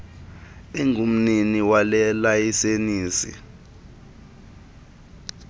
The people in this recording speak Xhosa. engumnini wale layisenisi